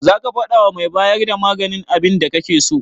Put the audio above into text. Zaka faɗawa mai bayar da maganin abinda kake so?